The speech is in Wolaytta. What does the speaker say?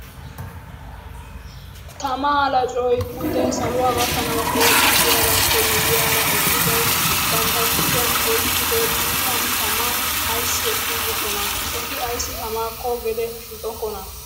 Tammaa laccoy pude saluwa gakkanaw eezxidaagappe miyyiyaara eqqidi bantta kushiyan oyqqido xiifaan tamma ayssi ekkiigokkona? Eti ayssi tammakko gede shiiqookkona?